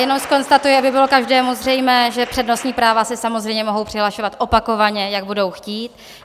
Jenom zkonstatuji, aby bylo každému zřejmé, že přednostní práva se samozřejmě mohou přihlašovat opakovaně, jak budou chtít.